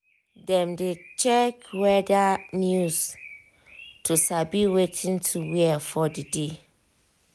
dem dey check weather news to sabi wetin to wear for the day.